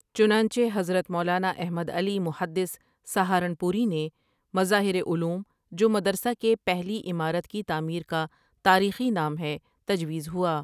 چنانچہ حضرت مولانا احمد علی محدث سہارنپوریؒ نے مظاہرعلوم جو مدرسہ کے پہلی عمارت کی تعمیر کا تاریخی نام ہے تجویز ہوا ۔